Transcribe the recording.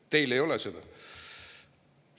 Teil ei ole seda.